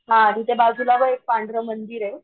हा तिथे बाजूला बघ एक पांढरं मंदिरे,